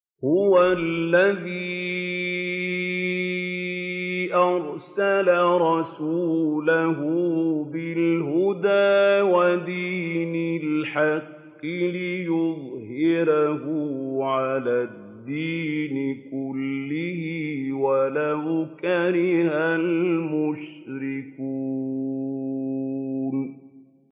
هُوَ الَّذِي أَرْسَلَ رَسُولَهُ بِالْهُدَىٰ وَدِينِ الْحَقِّ لِيُظْهِرَهُ عَلَى الدِّينِ كُلِّهِ وَلَوْ كَرِهَ الْمُشْرِكُونَ